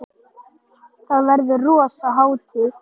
Þá verður rosa hátíð!